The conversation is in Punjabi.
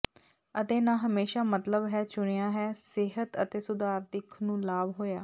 ਅਤੇ ਨਾ ਹਮੇਸ਼ਾ ਮਤਲਬ ਹੈ ਚੁਣਿਆ ਹੈ ਸਿਹਤ ਅਤੇ ਸੁਧਾਰ ਦਿੱਖ ਨੂੰ ਲਾਭ ਹੋਇਆ